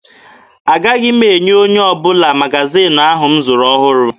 Agaghị m enye onye ọbụla magaziini ahụ m zụrụ ọhụrụ.